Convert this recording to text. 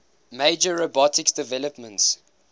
major robotics developments